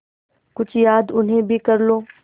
कुछ याद उन्हें भी कर लो